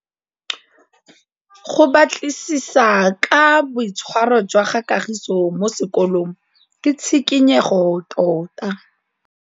Go batlisisa ka boitshwaro jwa Kagiso kwa sekolong ke tshikinyêgô tota.